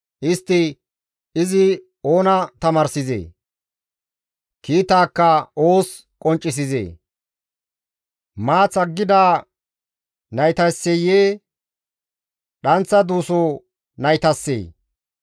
Istti, «Izi oona tamaarsizee? Kiitaakka oos qonccisizee? Maath aggida naytasseyee dhanththa duuso naytassee?